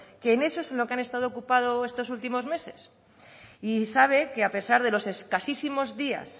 que en eso es en lo que han estado ocupados estos últimos meses y sabe que a pesar de los escasísimos días